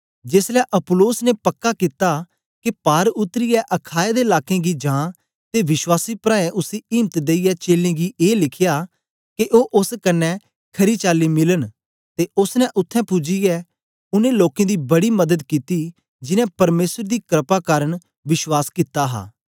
जेसलै अप्पुलोस ने पक्का कित्ता के पार उतरीयै अखाया दे लाकें गी जां ते विश्वासी प्राऐं उसी इम्त देईयै चेलें गी ए लिखया के ओ ओस कन्ने खरी चाली मिलन ते ओसने उत्थें पूजियै उनै लोकें दी बड़ी मदद कित्ती जिनैं परमेसर दी क्रपा दे कारन विश्वास कित्ता हा